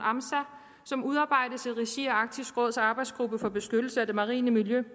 som udarbejdes i regi af arktisk råds arbejdsgruppe for beskyttelse af det marine miljø